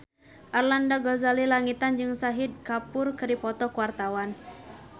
Arlanda Ghazali Langitan jeung Shahid Kapoor keur dipoto ku wartawan